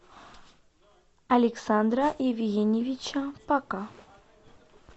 александра евгеньевича пака